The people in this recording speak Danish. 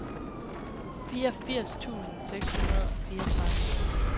fireogfirs tusind seks hundrede og fireogtredive